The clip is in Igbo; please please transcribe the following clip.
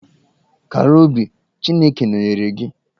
Kara obi, Chineke nọnyeere gị.